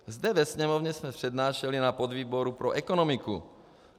Zde ve Sněmovně jsme přednášeli na podvýboru pro ekonomiku.